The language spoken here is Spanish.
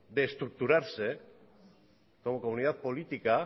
de estructurarse como comunidad política